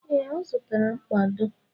Ee, ọ zụtara mkpado.